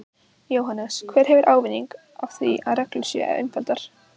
Jóhannes: Hver hefur ávinning af því að reglur séu einfaldaðar?